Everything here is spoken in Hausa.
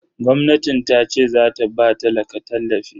Gwamnatin tace zata ba talaka tallafi